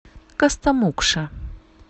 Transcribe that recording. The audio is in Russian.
костомукша